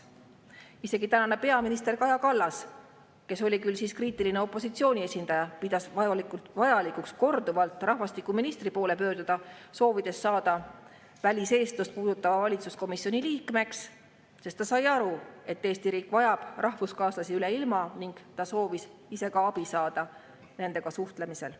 Isegi tänane peaminister Kaja Kallas, kes oli küll siis kriitiline opositsiooni esindaja, pidas vajalikuks korduvalt rahvastikuministri poole pöörduda, soovides saada väliseestlusega valitsuskomisjoni liikmeks, sest ta sai aru, et Eesti riik vajab rahvuskaaslasi üle ilma, ning ta soovis ise ka saada abi nendega suhtlemisel.